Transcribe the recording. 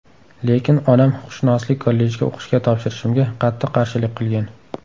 Lekin onam huquqshunoslik kollejiga o‘qishga topshirishimga qattiq qarshilik qilgan.